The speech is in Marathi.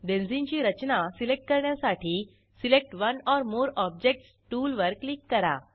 बेंझिनची रचना सिलेक्ट करण्यासाठी select one or more objects tool वर क्लिक करा